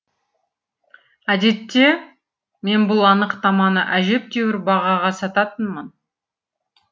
әдетте мен бұл анықтаманы әжептәуір бағаға сататынмын